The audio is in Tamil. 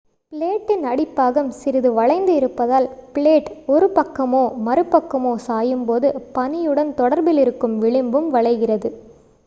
பிளேடின் அடிப்பாகம் சிறிது வளைந்து இருப்பதால் பிளேட் ஒரு one பக்கமோ மறுபக்கமோ சாயும் போது பனியுடன் தொடர்பிலிருக்கும் விளிம்பும் வளைகிறது